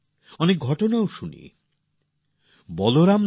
অনেক কাহিনীও শুনলাম